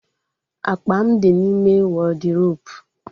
Akpa m di n'ime wọdiropu